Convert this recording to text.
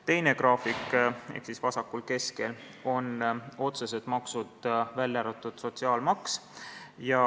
Teine graafik, vasakul keskel, on otsesed maksud, välja arvatud sotsiaalmaks.